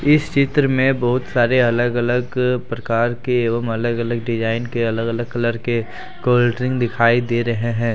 इस चित्र मे बहुत सारे अलग अलग प्रकार के एवं अलग अलग डिजाइन के अलग अलग कलर के कोलड्रिंक दिखाई दे रहे हैं।